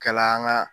Kala an ka